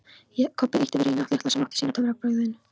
Kobbi ýtti við Reyni litla, sem átti að sýna töfrabrögðin.